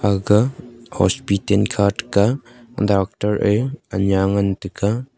aga hospiten kha taga doctor ei anya ngan taga.